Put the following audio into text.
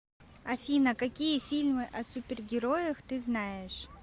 афина какие фильмы о супергероях ты знаешь